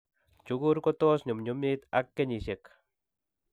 Chukur kotos ko nyumnyumit ak kenyisiek.